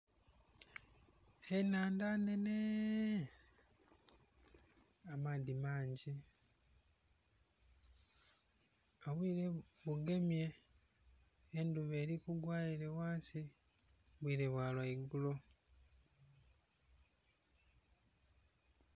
Enhandha nnenheee... amaadhi mangi obwire bugemye endhuba eri kugwa ere ghansi bwire bwa lwaigulo.